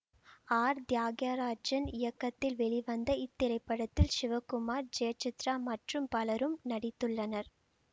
R Thiyagarajan இயக்கத்தில் வெளிவந்த இத்திரைப்படத்தில் சிவகுமார் ஜெயசித்ரா மற்றும் பலரும் நடித்துள்ளனர்